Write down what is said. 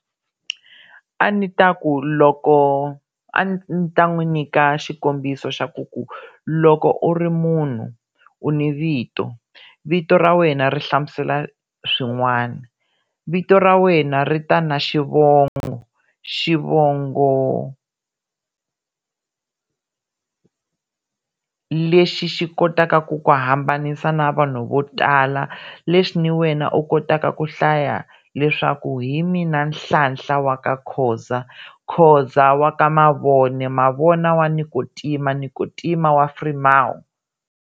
A ni ta ku loko a ni ta n'wi nyika xikombiso xa ku ku loko u ri munhu u ni vito, vito ra wena ri hlamusela swin'wana, vito ra wena ri ta na xivongo, xivongo lexi xi kotaka ku ku hambanisa na vanhu vo tala leswi ni wena u kotaka ku hlaya leswaku hi mina Nhlahla wa ka Khoza, Khoza wa ka Mavone, Mavone wa Nikotima, Nikotima wa Frimawu.